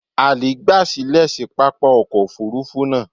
Ali gba silẹ si papa ọkọ ofurufu naa